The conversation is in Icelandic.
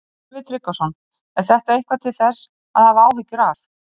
Sölvi Tryggvason: Er þetta eitthvað til þess að hafa áhyggjur af?